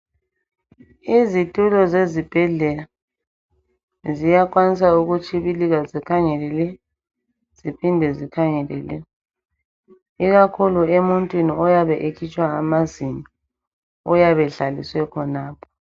Izitulo zezibhedlela ziyakwanisa ukutshibilika zikhangele le ziphinde zikhangele le, ikakhulu emuntwini oyabe ekhitshwa amazinyo uyabe ehlaliswe khonapho.